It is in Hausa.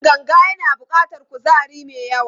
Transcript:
Yin ganga yana buƙatar kuzari mai yawa.